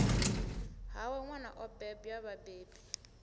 hawe nwana o bebwa vhabebi